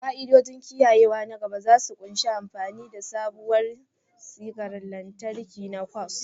Ka'idojin kiyayewa na gaba za su ƙunshi amfani da sabuwar sigar lantarki na kwas